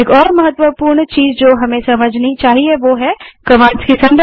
एक और महत्वपूर्ण चीज़ जो हमें समझनी चाहिए वह है कमांड्स की संरचना